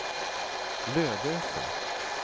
Lödöse